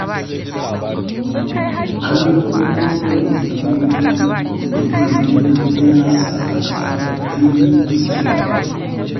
Kallon korayen shukoki da furanni yana sa ka ƙara kaifin basira